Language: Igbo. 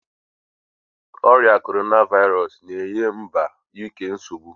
Oria Korona vairosu na-enye mba Uk nsogbu